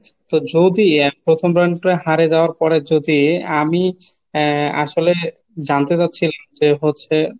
তো যদি এক প্রথম round টা হারিয়ে যাওয়ার পরে যদি আমি আহ আসলে জানতে চাচ্ছি যে হচ্ছে;